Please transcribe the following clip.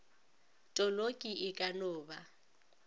toloki e ka no ba